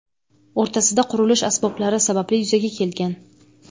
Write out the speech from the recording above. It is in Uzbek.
o‘rtasida qurilish asboblari sababli yuzaga kelgan.